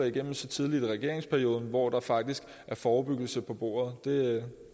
igennem så tidligt i regeringsperioden hvor der faktisk er forebyggelse på bordet det